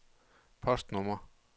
postnummer